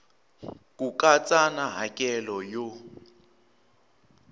ku katsa na hakelo yo